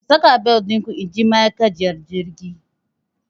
Ku saka bel ɗinku inji ma'akaciyar jirgin!